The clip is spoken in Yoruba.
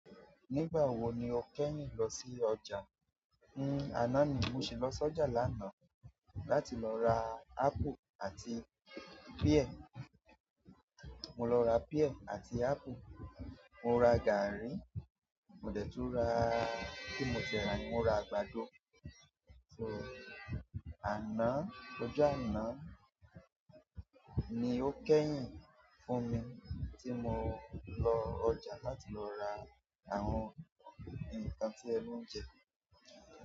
Nígbà wo ni o kẹ́yìn lọ sí ọ̀jà? Uhn àná ni mo sì lọ s'ọjà lánàá láti lọ ra apple àti pear. Mo lọ ra pear àti apple. Mo ra gàárì. Mo dẹ̀ tun ra kini mo ti e rà yẹn, mo ra àgbàdo. So, àná, ọjọ́ àná ni ó kẹ́yìn fún mi tí mo lọ ọjà láti lọ ra àwọn nǹkan tí ẹnú ń jẹ.